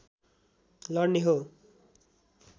लड्ने हो